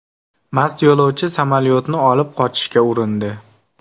Mast yo‘lovchi samolyotni olib qochishga urindi.